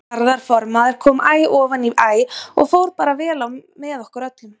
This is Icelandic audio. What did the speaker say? Garðar formaður kom æ ofaní æ og fór bara vel á með okkur öllum.